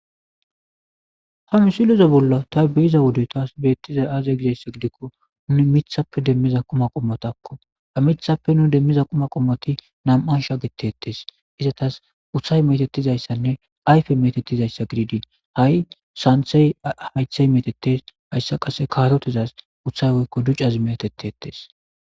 Ha misiloze bolla ta biyiza wude taas beettiza aaze gidesse gidikko nuni mithappe demmiza quma qommotakko amithappe nu demmiza quma qommoti nam'ansha getettes izatas uthay metetizayssanne ayfe metetizayssa gidiidin ha'i santhey haythey metetes hayssa qase kaarotizaz uthay woykko ducazi meetetetes.